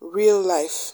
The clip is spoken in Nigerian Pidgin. real life.